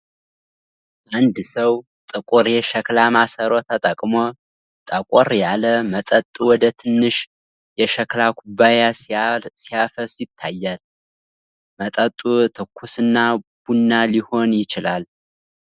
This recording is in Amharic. አንድ ሰው ጥቁር የሸክላ ማሰሮ ተጠቅሞ ጠቆር ያለ መጠጥ ወደ ትንሽ የሸክላ ኩባያ ሲያፈስ ይታያል። መጠጡ ትኩስ ቡና ሊሆን ይችላል?